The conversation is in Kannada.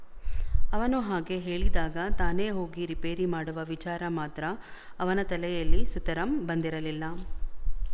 ಅವನು ಹಾಗೆ ಹೇಳಿದಾಗ ತಾನೇ ಹೋಗಿ ರಿಪೇರಿ ಮಾಡುವ ವಿಚಾರ ಮಾತ್ರ ಅವನ ತಲೆಯಲ್ಲಿ ಸುತರಾಮ್ ಬಂದಿರಲಿಲ್ಲ